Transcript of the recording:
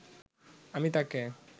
আমি তাকে